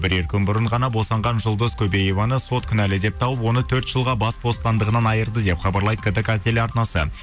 бірер күн бұрын ғана босанған жұлдыз көбееваны сот кінәлі деп тауып оны төрт жылға бас бостандығынан айырды деп хабарлайды ктк телеарнасы